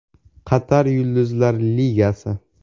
Qatar Yulduzlar Ligasi.